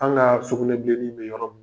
An kaa sugunɛbilenni be yɔrɔ min